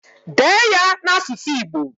Dee ya n'asụsụ Igbo!